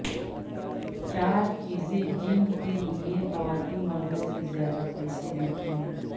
چار چیزیں جن کے لیے خواتین مردوں سے زیادہ پیسے دیتی ہیں